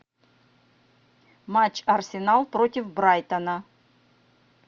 матч арсенал против брайтона